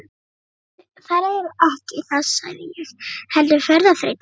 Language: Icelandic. Það er ekki það sagði ég, heldur ferðaþreytan.